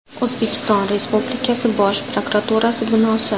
O‘zbekiston Respublikasi Bosh prokuraturasi binosi.